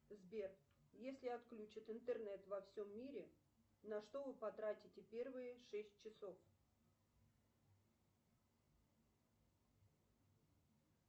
сбер если отключат интернет во всем мире на что вы потратите первые шесть часов